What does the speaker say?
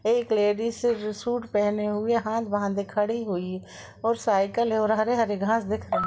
एक ladies suit पहने हुए हाथ बांधे खडी हुई और साइकिल है और हरे-हरे घास दिख रहे --